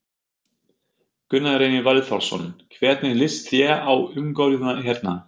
Gunnar Reynir Valþórsson: Hvernig líst þér á umgjörðina hérna?